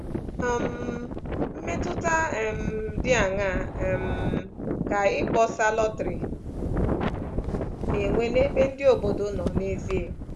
um Mmetụta um dị aṅaa um ka ịkpọsa lọtrị na-enwe n’ebe ndị obodo nọ n’ezie?